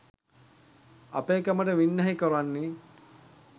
අපේකමට වින්නැහි කොරන්නේ